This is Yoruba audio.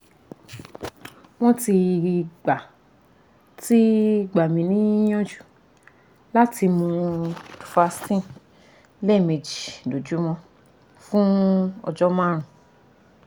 wọ́n ti gbà ti gbà mí níyànjú láti mú duphaston lẹ́ẹ̀méjì lójúmọ́ fún ọjọ́ márùn-ún